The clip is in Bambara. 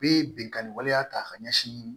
U bɛ binkanni waleya ta ka ɲɛsin